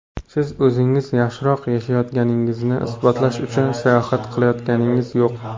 Siz o‘zingiz yaxshiroq yashayotganingizni isbotlash uchun sayohat qilayotganingiz yo‘q.